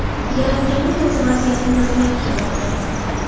Yaratganning o‘zi vaziyatni nazorat qilmoqda.